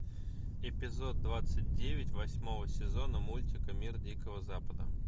эпизод двадцать девять восьмого сезона мультика мир дикого запада